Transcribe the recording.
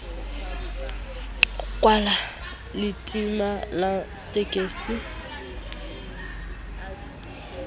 kwallalemati la tekisi ha e